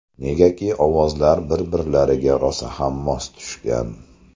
Negaki ovozlari bir-birlariga rosa ham mos tushgan.